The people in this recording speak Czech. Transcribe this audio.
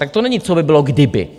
Tak to není, co by bylo, kdyby.